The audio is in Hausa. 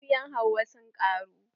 Mabiyan Hauwa sun ƙaru.